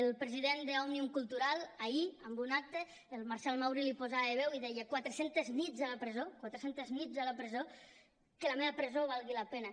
el president d’òmnium cultural ahir en un acte el marcel mauri hi posava veu i deia quatre centes nits a la presó quatre centes nits a la presó que la meva presó valgui la pena